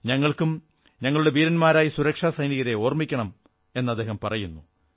ഞങ്ങൾക്കും ഞങ്ങളുടെ ധീരരായ സുരക്ഷാ സൈനികരെ ഓർമ്മിക്കണം എന്നദ്ദേഹം പറയുന്നു